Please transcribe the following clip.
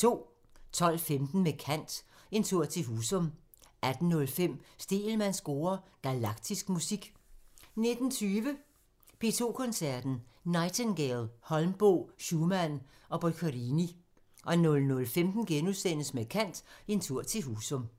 12:15: Med kant – En tur til Husum 18:05: Stegelmanns score: Galaktisk musik 19:20: P2 Koncerten – Nightingale, Holmboe, Schumann og Boccherini 00:15: Med kant – En tur til Husum *